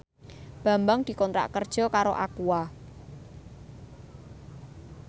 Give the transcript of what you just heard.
Bambang dikontrak kerja karo Aqua